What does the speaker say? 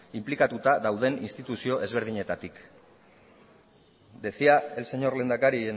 inplikatuta dauden instituzio ezberdinetatik decía el señor lehendakari